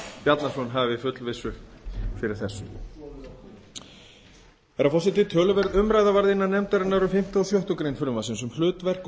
bjarnason hafi fullvissu fyrir þessu herra forseti töluverð umræða var innan nefndarinnar um fimmta og sjöttu greinar frumvarpsins um hlutverk og